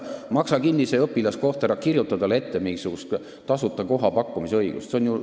Maksa kinni see õpilaskoht, aga ära kirjuta talle ette mingisugust tasuta koha pakkumise kohustust!